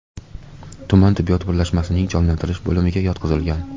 tuman tibbiyot birlashmasining jonlantirish bo‘limiga yotqizilgan.